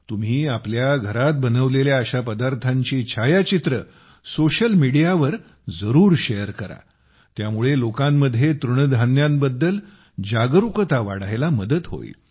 तुम्ही आपल्या घरात बनवलेल्या अशा पदार्थांची छायाचित्रे सोशल समाज माध्यमांवर जरूर शेअर करा त्यामुळे लोकांमध्ये तृणधान्यांबद्दल जागरुकता वाढण्यास मदत होईल